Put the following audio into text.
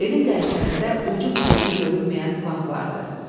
Evin qərşərində ucu-bucağı görünməyən bağ vardı.